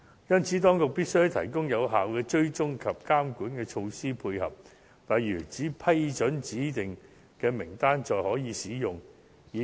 因此，當局必須提供有效的追蹤及監管措施配合，例如在光顧指定的名單上的服務才可以使用醫療券。